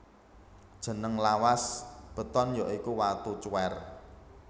Jeneng lawas beton ya iku watu cuwèr